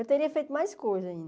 Eu teria feito mais coisas ainda.